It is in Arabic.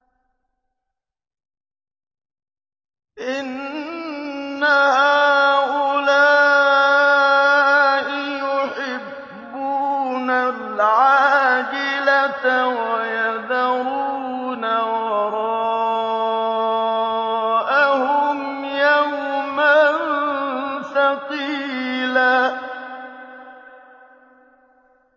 إِنَّ هَٰؤُلَاءِ يُحِبُّونَ الْعَاجِلَةَ وَيَذَرُونَ وَرَاءَهُمْ يَوْمًا ثَقِيلًا